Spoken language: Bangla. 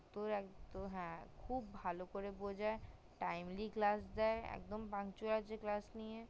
তোর হ্যা তোর খুব ভালো করে বুজাই timely class দেয় একদম এত তোকে class নিয়ে